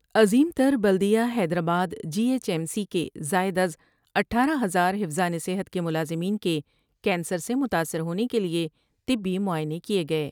عظیم تر بلد یہ Hyderabad B H M C کے زائداز اٹھارہ ہزار حفظان صحت کے ملازمین کے کینسر سے متاثر ہونے کیلئے طبی معائنے کئے گئے ۔